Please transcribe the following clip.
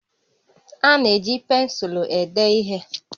A na-eji pensụlụ ede ihe